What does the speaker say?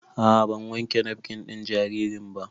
A'a ban wanke nafkin ɗin jaririn ba